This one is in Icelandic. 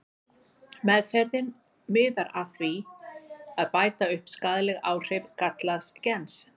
Meðferðin miðar að því að bæta upp skaðleg áhrif gallaðs gens.